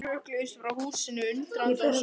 Þeir hrökkluðust frá húsinu, undrandi og sárir.